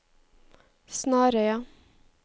Snarøya